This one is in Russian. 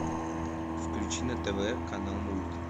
включи на тв канал мульт